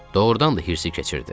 Doğrudan da hirsi keçirdi.